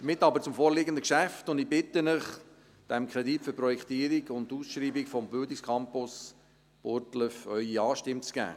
Damit aber zum vorliegenden Geschäft, und ich bitte Sie, dem Kredit für die Projektierung und die Ausschreibung des Bildungscampus Burgdorf Ihre Ja-Stimme zu geben.